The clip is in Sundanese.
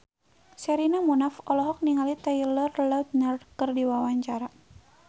Sherina Munaf olohok ningali Taylor Lautner keur diwawancara